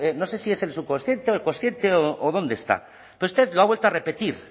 no sé si es el subconsciente o el consciente o dónde están pero usted lo ha vuelto a repetir